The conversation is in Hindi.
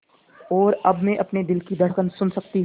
और अब मैं अपने दिल की धड़कन सुन सकती हूँ